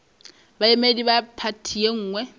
baemedi ba phathi ye nngwe